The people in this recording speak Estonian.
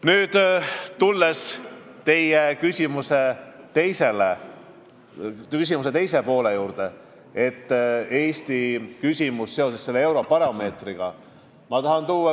Nüüd tulen teie küsimuse teise poole juurde: see puudutas Eestit seoses Eurobaromeetri uuringuga.